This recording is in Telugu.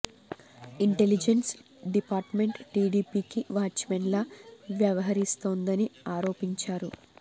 ఇంటెలిజెన్స్ డిపార్ట్ మెంట్ టీడీపీకి వాచ్ మెన్ లా వ్యవహరిస్తోందని ఆరోపించారు